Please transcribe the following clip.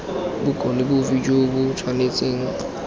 bokgoni bofe jo bo tshwanetseng